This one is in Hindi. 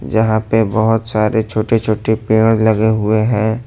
यहां पे बहुत सारे छोटे छोटे पेड़ लगे हुए हैं।